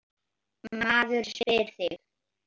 Maður spyr sig.